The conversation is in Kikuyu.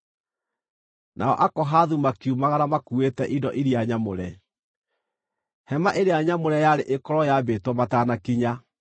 Nao Akohathu makiumagara makuuĩte indo iria nyamũre. Hema-ĩrĩa-Nyamũre yarĩ ĩkorwo yaambĩtwo matanakinya.